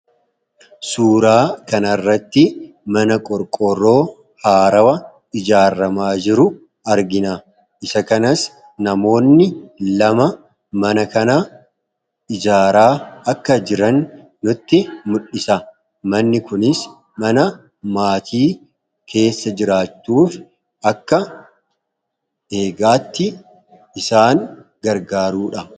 suuraa kanaarratti mana qorqoroo haarawa ijaarramaa jiru argina isa kanas namoonni lama mana kana ijaaraa akka jiran nutti mudhisa manni kunis mana maatii keessa jiraachuuf akka eegaatti isaan gargaaruudha